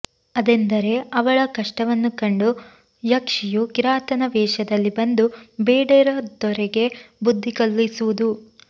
ಅದೆಂದರೆ ಅವಳ ಕಷ್ಟವನ್ನು ಕಂಡು ಯಕ್ಷಿಯು ಕಿರಾತನ ವೇಷದಲ್ಲಿ ಬಂದು ಬೇಡದೊರೆಗೆ ಬುದ್ದಿ ಕಲಿಸುವುದು